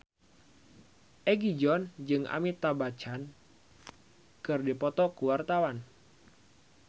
Egi John jeung Amitabh Bachchan keur dipoto ku wartawan